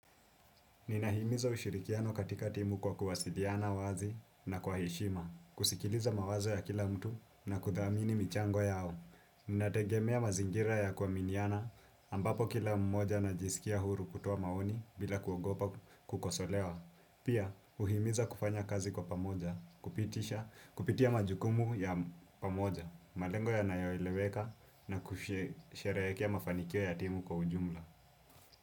Ninahimiza ushirikiano katika timu kwa kuwasiliana wazi na kwa heshima. Kusikiliza mawazo ya kila mtu na kudhamini michango yao. Ninategemea mazingira ya kuaminiana ambapo kila mmoja anajisikia huru kutoa maoni bila kuogopa kukosolewa. Pia, uhimiza kufanya kazi kwa pamoja, kupitia majukumu ya pamoja, malengo yanayoeleweka na kusherehekea mafanikio ya timu kwa ujumla.